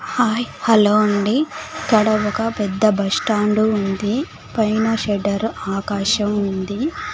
Hi hello అండి పొడవుగా పెద్ద బస్టాండు ఉంది పైన షెటర్ ఆకాశం ఉంది.